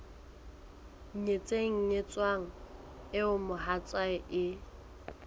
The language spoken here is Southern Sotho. nyetseng nyetsweng eo mohatsae e